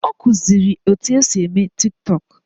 Ọ kụziri etu esi eme Tiktọk